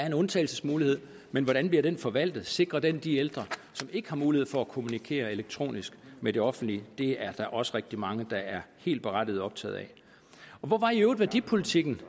en undtagelsesmulighed men hvordan bliver den forvaltet sikrer den de ældre som ikke har mulighed for at kommunikere elektronisk med det offentlige det er der også rigtig mange der helt berettiget er optaget af hvor var i øvrigt værdipolitikken